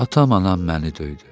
Atam anam məni döydü.